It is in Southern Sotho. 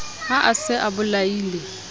ha a se a bolaile